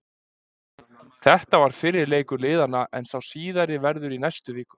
Þetta var fyrri leikur liðanna en sá síðari verður í næstu viku.